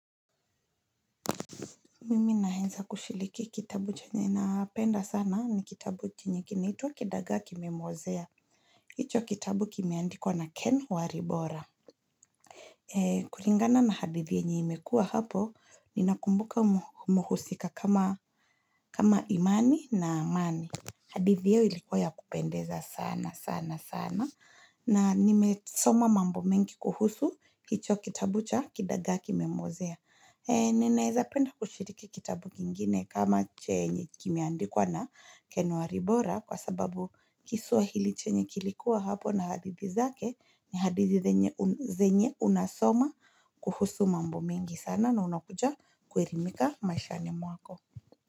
Mimi naeza kushiliki kitabu chenye napenda sana ni kitabu chenye kinaitwa Kidagaa kimemwozea. Hicho kitabu kimeandikwa na Ken Waribora. Kuringana na hadithi yenye imekua hapo, ninakumbuka muhusika kama imani na amani. Hadi vyeo ilikuwa ya kupendeza sana sana sana. Na nimesoma mambo mengi kuhusu hicho kitabu cha Kidagaa ki Memwozea. Ninaeza penda kushiriki kitabu kingine kama chenye kimeandikwa na ken waribora kwa sababu kisuwahili chenye kilikuwa hapo na hadithi zake ni hadithi zenye unasoma kuhusu mambo mingi sana na unakuja kuerimika maishani mwako.